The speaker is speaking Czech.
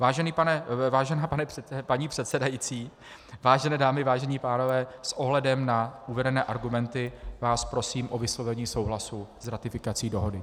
Vážená paní předsedající, vážené dámy, vážení pánové, s ohledem na uvedené argumenty vás prosím o vyslovení souhlasu s ratifikací dohody.